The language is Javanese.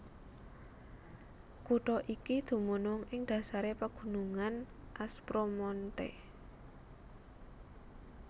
Kutha iki dumunung ing dhasaré pagunungan Aspromonte